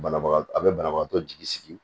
Banabaga a bɛ banabagatɔ jigi sigi